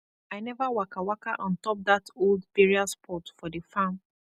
i never waka waka on top that old burial spot for the farm